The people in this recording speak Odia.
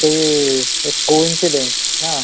ମତେ ବି ୟେ co-incidence ହଁ